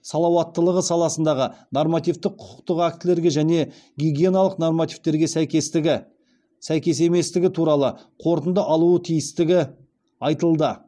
салауаттылығы саласындағы нормативтік құқықтық актілерге және гигиеналық нормативтерге сәйкестігі туралы қорытынды алуы тиістігі айтылды